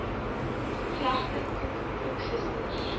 gevlegde koek koeksisters